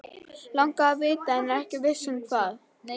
Langar að vita- en er ekki viss um hvað.